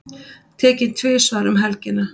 Tekinn tvisvar um helgina